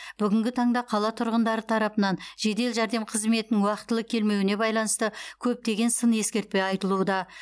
бүгінгі таңда қала тұрғындары тарапынан жедел жәрдем қызметінің уақтылы келмеуіне байланысты көптеген сын ескертпе айтылуда